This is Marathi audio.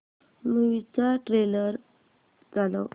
मूवी चा ट्रेलर चालव